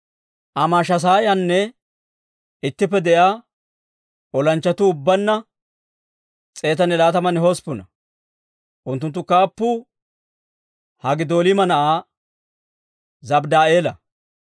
Amaashasaayaana ittippe de'iyaa olanchchatuu ubbaanna 128. Unttunttu kaappuu Haggidoolima na'aa Zabddi'eela.